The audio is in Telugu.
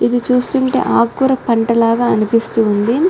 ఇది చుస్తునాటు ఆకురా పంట లాగా ఉన్నదీ --